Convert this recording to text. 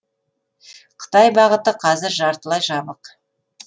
қытай бағыты қазір жартылай жабық